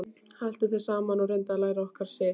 Haltu þér saman og reyndu að læra okkar siði.